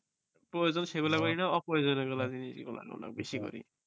প্রয়োজন সেগুলো করি না অপ্রয়োজন যে গুলা জিনিস গুলা সেগুলা বেশি করি